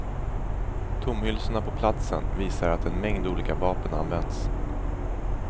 Tomhylsorna på platsen visar att en mängd olika vapen använts.